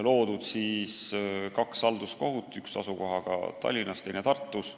Loodud on kaks halduskohut, üks asukohaga Tallinnas, teine Tartus.